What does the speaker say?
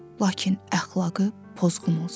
lakin əxlaqı pozğun olsun.